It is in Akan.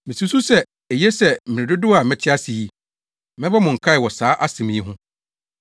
Misusuw sɛ, eye sɛ mmere dodow a mete ase yi, mɛbɔ mo nkae wɔ saa asɛm yi ho.